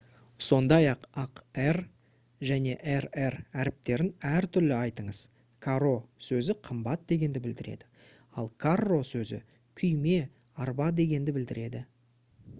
сондай-ақ r және rr әріптерін әртүрлі айтыңыз caro сөзі қымбат дегенді білдіреді ал carro сөзі күйме арба дегенді білдіреді